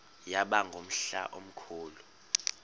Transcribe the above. yaba ngumhla omkhulu